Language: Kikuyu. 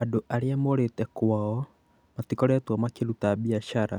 Andũ arĩa morĩte kwao matikoretwo makĩruta biacara